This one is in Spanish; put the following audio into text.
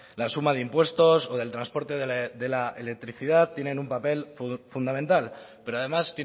la suma de impuestos o del transporte de la electricidad tiene un papel fundamental pero además